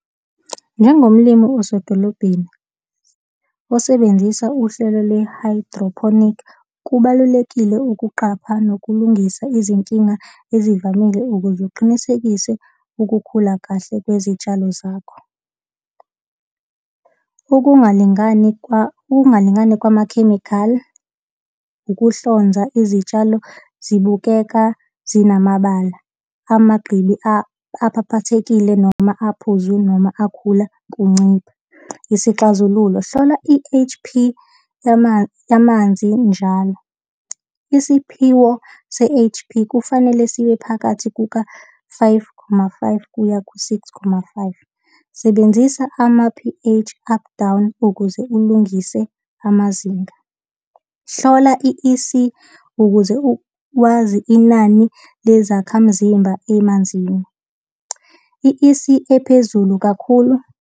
Njengomlimi osedolobheni osebenzisa uhlelo lwe-hydroponic, kubalulekile ukuqapha nokulungisa izinkinga ezivamile ukuze uqinisekise ukukhula kahle kwezitshalo zakho. Ukungalingani ukungalingani kwamakhemikhali, ukuhlonza izitshalo zibukeka zinamabala, amagqibi aphaphathekile, noma aphuzu, noma akhula kuncipha. Isixazululo. Hlola i-H_P yamanzi njalo. Isiphiwo se-H_P kufanele sibe phakathi kuka-five, khoma five, kuya ku-six khoma five. Sebenzisa ama-P_H up down ukuze ulungise amazinga. Hlola i-E_C ukuze wazi inani lezakhamzimba emanzini. I-E_C ephezulu kakhulu.